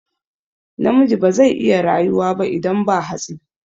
Namiji bazai iya rayuwa ba idan ba hatsi